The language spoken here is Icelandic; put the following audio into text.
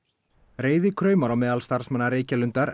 reiði kraumar á meðal starfsmanna Reykjalundar